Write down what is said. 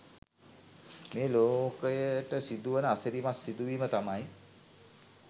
මේ ලෝකයට සිදුවන අසිරිමත් සිදුවීම තමයි